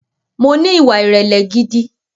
Mo ní ìwà ìrẹ̀lẹ̀ gidi